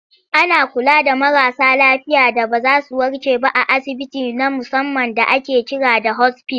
Ana kula da marasa lafiya da ba za zu warke ba a asibiti na musamman da ake kira da 'hospice'.